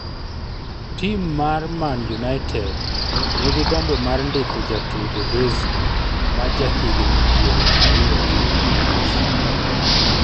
Tim mar man united nigi gombo mar ndiko jatugo Dazy ,ma ja higni piero ariyo gi abich